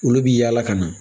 Olu bi yaala ka na